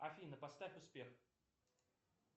афина поставь успех